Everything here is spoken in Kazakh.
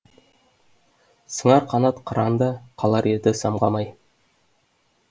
сыңар қанат қыран да қалар еді самғамай